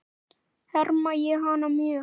Harma ég hana mjög.